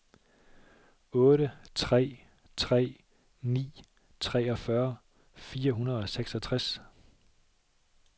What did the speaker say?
otte tre tre ni treogfyrre fire hundrede og seksogtres